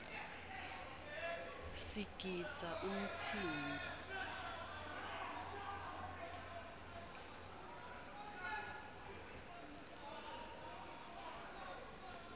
sigidza umtsimba